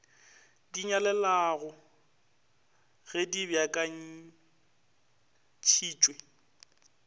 di nyalelanago ge di beakantphitpwe